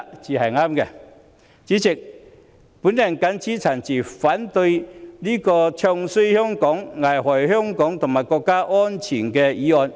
代理主席，我謹此陳辭，反對這項"唱衰"香港、危害香港和國家安全的議案。